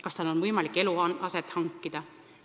Kas tal on võimalik eluaset hankida?